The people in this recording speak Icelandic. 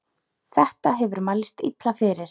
Þetta hefur mælst illa fyrir.